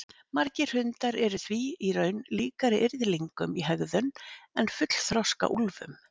Margir hundar eru því í raun líkari yrðlingum í hegðun en fullþroska úlfum.